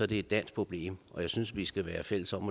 det et dansk problem og jeg synes vi skal være fælles om